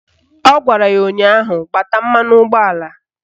Ọ gwara ya ụnyaahụ " Gbata mmanụ ụgbọala"!